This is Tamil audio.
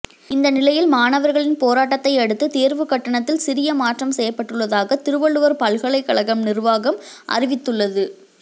இந்த நிலையில் மாணவர்களின் போராட்டத்தையடுத்து தேர்வு கட்டணத்தில் சிறிய மாற்றம் செய்யப்பட்டுள்ளதாக திருவள்ளுவர் பல்கலைக்கழகம் நிர்வாகம் அறிவித்துள்ளது